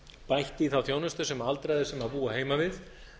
bætt í þá þjónustu sem aldraðir sem búa heima við